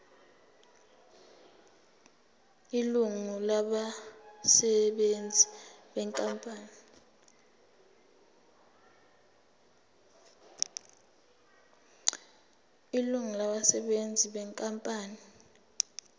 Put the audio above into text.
ilungu labasebenzi benkampani